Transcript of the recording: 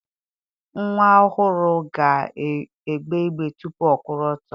Nnwa ọhụrụ ga-egbe igbe tupu ọ kwụrụ ọtọ